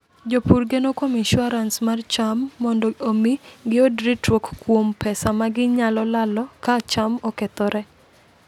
Jopur geno kuom insuarans mar cham mondo omi giyud ritruok kuom pesa ma ginyalo lalo ka cham okethore.